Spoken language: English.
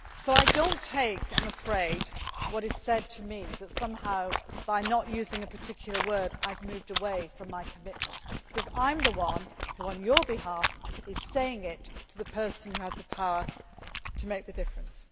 I do not accept, I am afraid, what is said to me that somehow, by not using a particular word, I have moved away from my commitment, because I am the one who, on your behalf, is saying it to the person who has the power to make the difference.